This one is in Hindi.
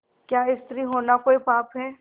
क्या स्त्री होना कोई पाप है